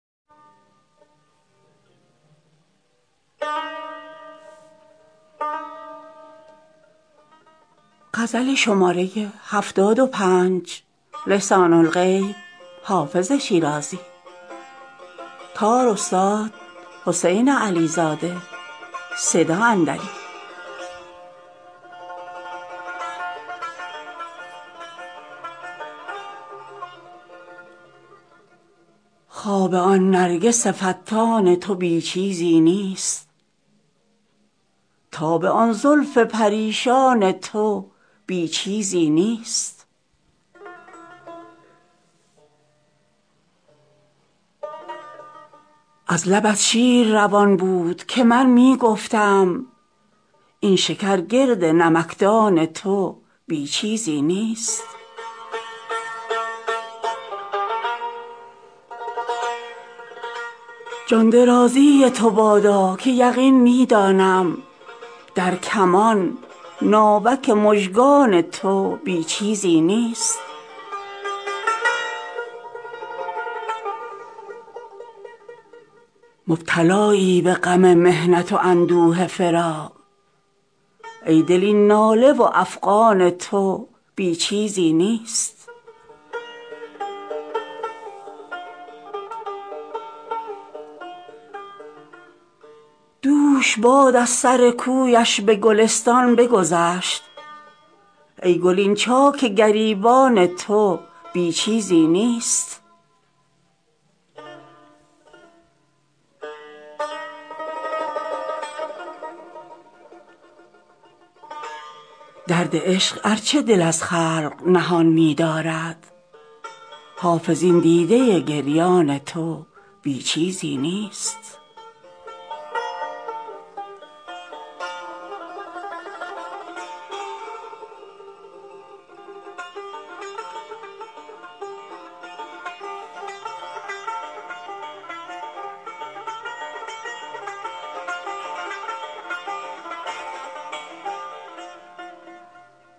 خواب آن نرگس فتان تو بی چیزی نیست تاب آن زلف پریشان تو بی چیزی نیست از لبت شیر روان بود که من می گفتم این شکر گرد نمکدان تو بی چیزی نیست جان درازی تو بادا که یقین می دانم در کمان ناوک مژگان تو بی چیزی نیست مبتلایی به غم محنت و اندوه فراق ای دل این ناله و افغان تو بی چیزی نیست دوش باد از سر کویش به گلستان بگذشت ای گل این چاک گریبان تو بی چیزی نیست درد عشق ار چه دل از خلق نهان می دارد حافظ این دیده گریان تو بی چیزی نیست